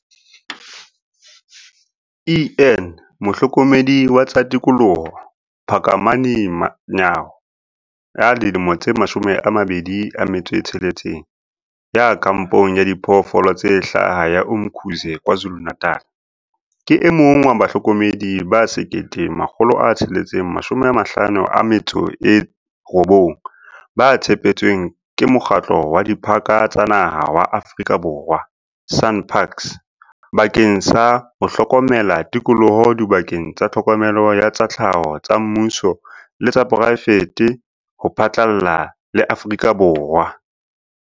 En Mohlokomedi wa tsa tikoloho Phakamani Nyawo ya dilemo tse 26, ya kampong ya Diphoofolo tse Hlaha ya Umkhuze KwaZulu-Natal, ke e mong wa bahlokomedi ba 1 659 ba tshepetsweng ke Mokgatlo wa Diphaka tsa Naha wa Aforika Borwa, SANParks, bakeng sa ho hlokomela tikoloho dibakeng tsa tlhokomelo ya tsa tlhaho tsa mmuso le tsa poraefete ho phatlalla le Aforika Borwa.